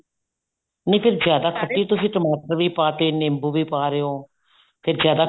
ਨਹੀਂ ਫਿਰ ਜਿਆਦ ਖੱਟੀ ਤੁਸੀਂ ਟਮਾਟਰ ਵੀ ਪਾਤੇ ਨਿੰਬੂ ਵੀ ਪਾ ਰਹੇ ਹੋਣ ਫ਼ੇਰ ਜਿਆਦਾ